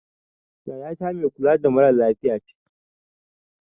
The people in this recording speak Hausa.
Yaya ta mai kula da mara lafiya ce